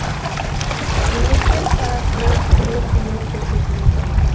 мемлекет тарапынан түрлі көмек көрсетіледі